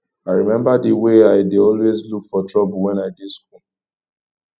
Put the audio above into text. i remember the way i dey always look for trouble wen i dey school